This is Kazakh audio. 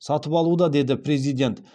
сатып алуда деді президент